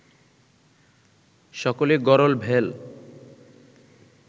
সকলই গরল ভেল